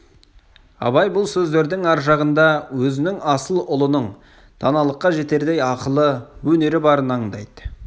абай бұл сөздердің ар жағында өзінің асыл ұлының даналыққа жетердей ақылы өнері барын аңдайды